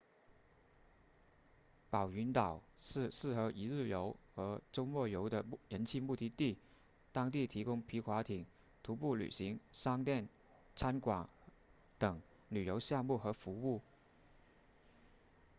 宝云岛是适合一日游或周末游的人气目的地当地提供皮划艇徒步旅行商店餐馆等旅游项目和服务